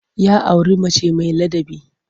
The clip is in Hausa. Ya auri mace mai ladabi.